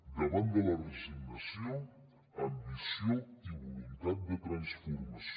davant de la resignació ambició i voluntat de transformació